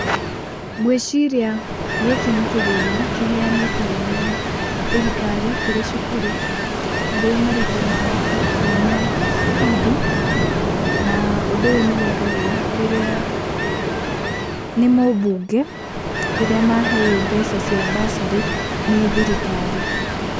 Ngwĩciria gĩkĩ nĩ kĩgĩna kĩheanĩtwo nĩ thirikari kũrĩ cukuru ,harĩ marĩhi ma arutwo ma bithi, na ũndũ ũyũ nĩ wĩkagwo rĩrĩa, nĩ mũbunge rĩrĩa maheo mbeca cia bursary nĩ thirikari.